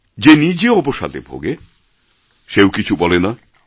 যে নিজে অবসাদে ভোগে সেও কিছু বলে না